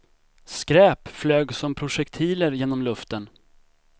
Skräp flög som projektiler genom luften.